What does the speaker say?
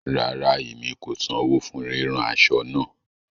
Rárá, emi kò sanwọ fún ríran aṣọ nṣa